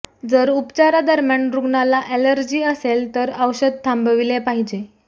जर उपचारादरम्यान रुग्णाला ऍलर्जी असेल तर औषध थांबविले पाहिजे